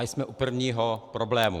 A jsme u prvního problému.